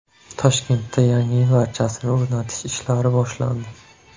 Toshkentda Yangi yil archasini o‘rnatish ishlari boshlandi .